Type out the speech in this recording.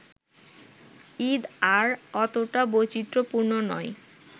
ঈদ আর অতটা বৈচিত্রপূর্ণ নয়